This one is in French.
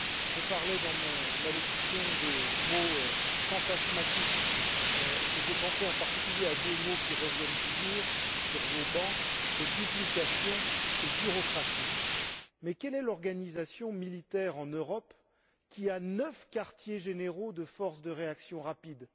J'évoquais, dans mon allocution, les mots fantasmatiques et je pensais, en particulier, à deux mots qui reviennent toujours sur vos bancs duplication et bureaucratie. Quelle est donc l'organisation militaire en Europe qui compte neuf quartiers généraux de force de réaction rapide?